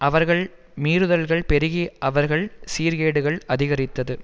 அவர்கள் மீறுதல்கள் பெருகி அவர்கள் சீர்கேடுகள் அதிகரித்தது